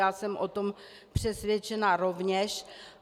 Já jsem o tom přesvědčena rovněž.